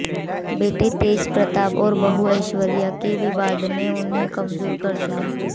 बेटे तेज प्रताप और बहू ऐश्वर्या के विवाद ने उन्हें कमजोर कर दिया है